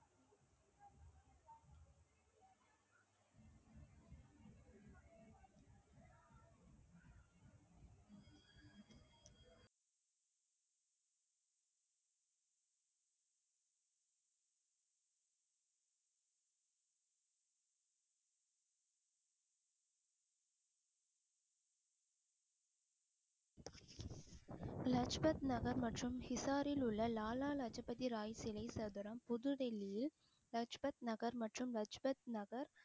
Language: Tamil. லஜ்பத் நகர் மற்றும் சிசாரில் உள்ள லாலா லஜபதி ராய் சிலை சதுரம் புதுடெல்லியில் லஜ்பத் நகர் மற்றும் லஜ்பத் நகர்